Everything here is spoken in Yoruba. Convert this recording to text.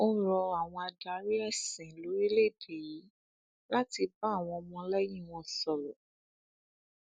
ó rọ àwọn adarí ẹsìn lórílẹèdè yìí láti bá àwọn ọmọlẹyìn wọn sọrọ